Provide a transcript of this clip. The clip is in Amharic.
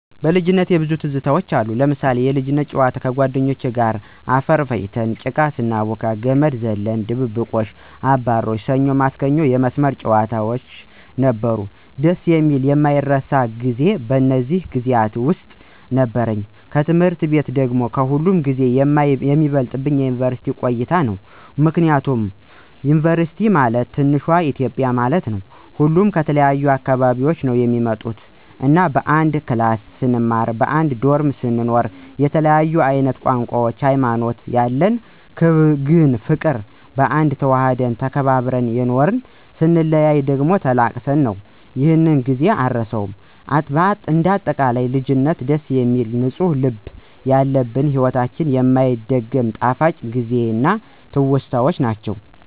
በልጅነቴ ብዙ ትዝታውች አሉ... ለምሳሌ፦ የልጅነት ጨዋታ ከጓደኞቼ ጋር ሁነን አፈር ፈጭተን ጭቃ ስናቦካ፣ ገመድ ዝላይ፣ ድብብቆሽ፣ አባሮሽ፣ ሰኞ ማክሰኞ መስመር ጨዋታውች ነበሩ። ደስ የሚልና የማይረሳ ጊዜ በእነዚህ ጊዜያት ውስጥ ነበረኝ። ከትምህርት ቤት ደግሞ ከሁሉም ጊዜ የሚበልጥብኝ የዩንቨርስቲ ቆይታየ ነው። ምክንያቱም ዩንቨርስቲ ማለት ትንሿ ኢትዮጵያ ማለት ነው። ሁሉም ከተለያየ አካባቢ ነው የሚመጡት እና በአንድ ክላስ ስንማር በአንድ ዶርሞ ስንኖር የተለያየ አይነት ቋንቋውች ሀይማኖቶች ያለን ግን በፍቅር በአንድነት ተዋደን ተከባብረን የኖርን ....ስንለያይ ደግሞ ተላቅሰን ነው ይሔን ጊዜ አረሳውም። እንደ አጠቃላይ ልጅነት ደስ የሚል ንፁህ ልብ ያለበት በሒወታችን የማይደገም ጣፋጭ ጊዜና ትውስታ ነው።